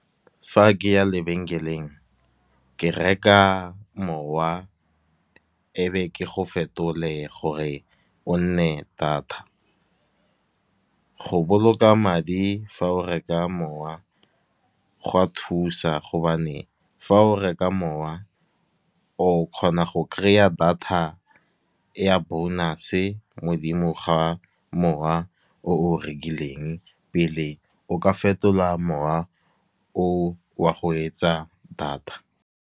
Fa ke ya lebenkeleng ke reka mowa e be ke go fetole gore o nne data. Go boloka madi fa o reka mowa go a thusa, gobane fa o reka mowa o kgona go kry-a data ya bonus, modimo ga mowa o o rekileng pele o ka fetolwa mowa o wa go etsa data.